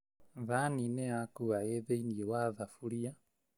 Thani nĩyakua ĩ thĩiniĩ wa thuburia